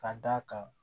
Ka d'a kan